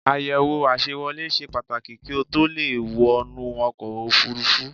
Àyẹ̀wò àṣewolé ṣe Pàtàkì kí o tó le è wọnú ọkọ̀ òfurufú